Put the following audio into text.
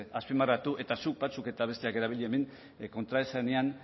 azpimarratu eta zuk batzuk eta besteak erabili hemen kontraesanean